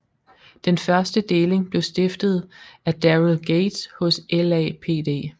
Den første deling blev stiftet af Daryl Gates hos LAPD